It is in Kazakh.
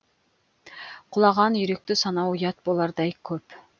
құлаған үйректі санау ұят болардай көп